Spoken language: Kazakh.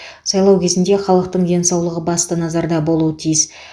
сайлау кезінде халықтың денсаулығы басты назарда болуы тиіс